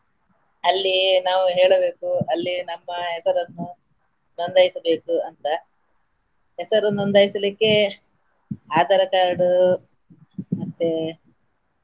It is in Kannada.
ಅಲ್ಲಿ ನಾವು ಹೇಳಬೇಕು ಅಲ್ಲಿ ನಮ್ಮ ಹೆಸರನ್ನು ನೋಂದಾಯಿಸಬೇಕು ಅಂತ ಹೆಸರು ನೋಂದಾಯಿಸಲಿಕ್ಕೆ Aadhaar card ಮತ್ತೇ.